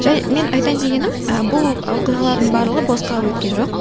және мен айтайын дегенім ы бұл оқиғалардың барлығы босқа өткен жоқ